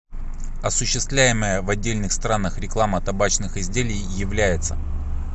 осуществляемая в отдельных странах реклама табачных изделий является